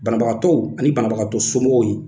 Banabagatɔw ani banabagatɔ somɔgɔw ye.